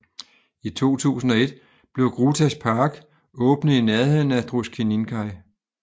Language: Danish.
I 2001 blev Grūtas Park åbnet i nærheden af Druskininkai